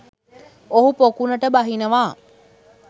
ඔහු පොකුණට බහිනවා.